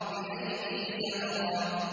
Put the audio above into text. بِأَيْدِي سَفَرَةٍ